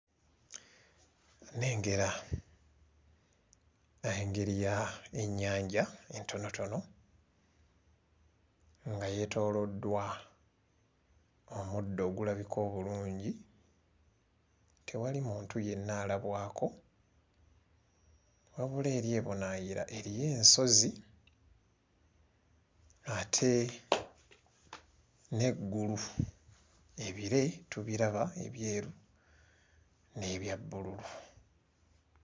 Nnengera engeri ya ennyanja entonotono nga yeetooloddwa omuddo ogulabika obulungi tewali muntu yenna alabwako wabula eri ebunaayira eriyo ensozi ate n'eggulu ebire tubiraba ebyeru n'ebya bbululu.